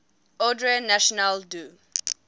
ordre national du